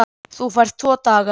Þú færð tvo daga.